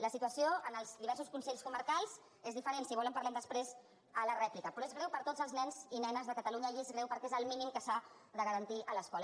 la situació en els diversos consells comarcals és diferent si vol en parlem després a la rèplica però és greu per a tots els nens i nenes de catalunya i és greu perquè és el mínim que s’ha de garantir a l’escola